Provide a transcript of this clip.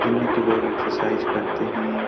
जिनमें की लोग एक्सरसाइज करते हैं।